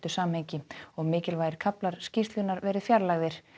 samhengi og mikilvægir kaflar skýrslunnar verið fjarlægðir